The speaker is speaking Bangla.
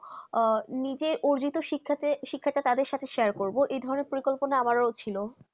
নিজে অর্জিত শিখতে শিক্ষা তাদের সাথে শেয়ার করবো যে ভাবে পরিকল্পনা আমরা ছিল